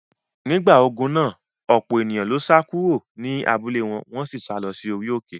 Nígbà ogun náà, ọ̀pọ̀ èèyàn ló sá kúrò ní abúlé wọn, wọ́n sì sá lọ sí orí òkè.